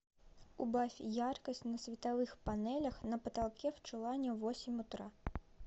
убавь яркость на световых панелях на потолке в чулане в восемь утра